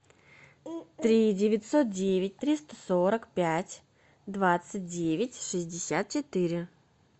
три девятьсот девять триста сорок пять двадцать девять шестьдесят четыре